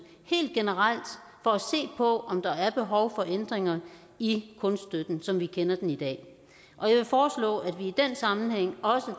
helt generelt for at se på om der er behov for ændringer i kunststøtten som vi kender den i dag og jeg vil foreslå at sammenhæng også